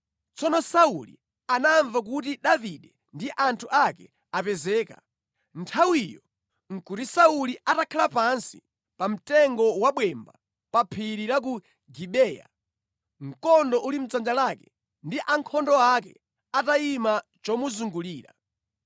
Tsono Sauli anamva kuti Davide ndi anthu ake apezeka. Nthawiyo nʼkuti Sauli atakhala pansi pa mtengo wa bwemba pa phiri la ku Gibeya, mkondo uli mʼdzanja lake ndi ankhondo ake atayima chomuzungulira.